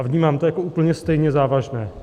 A vnímám to jako úplně stejně závažné.